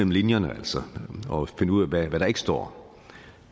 linjerne og finde ud af hvad der ikke står